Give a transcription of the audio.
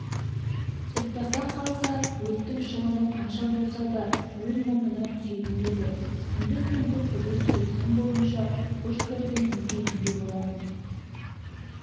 соттаса қалса өрттің шығыны қанша болса да өз мойнына түсетін еді күндіз-түнгі күзет келісім бойынша пушкарьдің міндетінде болатын